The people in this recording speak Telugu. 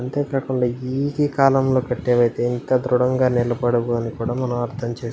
అంతేకాకుండా ఈ కాలంలో కట్టెడైతే ఇంత దృడంగా నిలబడవు అని కూడా మనం అర్థం చేస్కోవచ్చు.